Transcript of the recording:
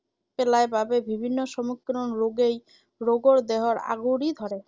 পেলায় বাবেই বিভিন্ন সমগ্ৰ ৰোগেই ৰোগৰ দেহৰ আগুৰি ধৰে ৷